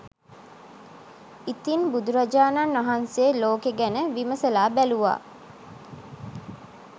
ඉතින් බුදුරජාණන් වහන්සේ ලෝකෙ ගැන විමසල බැලූවා